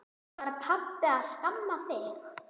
Var pabbi að skamma þig?